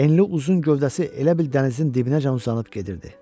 Enli uzun gövdəsi elə bil dənizin dibinəcən uzanıb gedirdi.